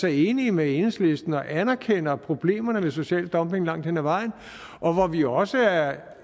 er enige med enhedslisten og anerkender problemerne med social dumping langt hen ad vejen og hvor vi også er